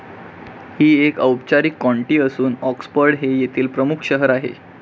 ही एक औपचारीक कॉन्टी असून ऑक्सफर्ड हे येथील प्रमुख शहर आहे.